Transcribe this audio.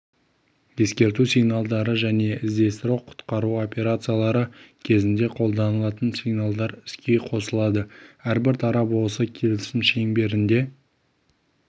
ескерту сигналдары және іздестіру-құтқару операциялары кезінде қолданылатын сигналдар іске қосылады әрбір тарап осы келісім шеңберінде